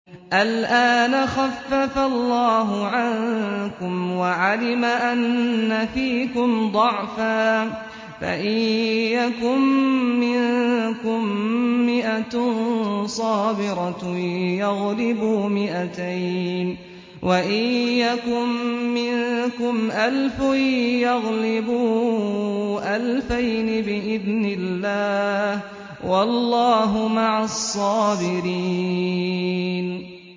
الْآنَ خَفَّفَ اللَّهُ عَنكُمْ وَعَلِمَ أَنَّ فِيكُمْ ضَعْفًا ۚ فَإِن يَكُن مِّنكُم مِّائَةٌ صَابِرَةٌ يَغْلِبُوا مِائَتَيْنِ ۚ وَإِن يَكُن مِّنكُمْ أَلْفٌ يَغْلِبُوا أَلْفَيْنِ بِإِذْنِ اللَّهِ ۗ وَاللَّهُ مَعَ الصَّابِرِينَ